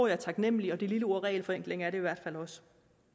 er taknemlige og det lille ord regelforenkling er det i hvert fald også